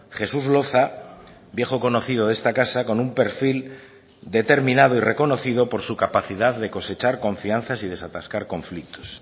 jesús loza viejo conocido de esta casa con un perfil determinado y reconocido por su capacidad de cosechar confianzas y desatascar conflictos